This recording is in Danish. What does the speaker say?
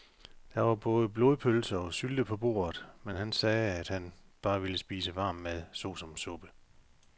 Der var både blodpølse og sylte på bordet, men han sagde, at han bare ville spise varm mad såsom suppe.